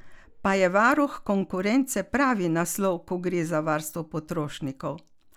Pa je varuh konkurence pravi naslov, ko gre za varstvo potrošnikov?